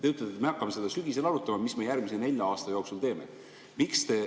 Te ütlete, et me hakkame sügisel arutama, mida me järgmise nelja aasta jooksul teeme.